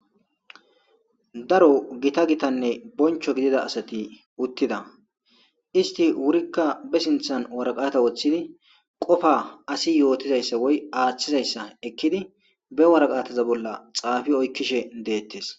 daro gita gitanne boncho gidida asati uttida isti wurikka be sinthan waraqata woththidi qofa asi yootizayssa woy aaththizayssa ekkidi be waraqataza bolla xaafi oykkishe deettes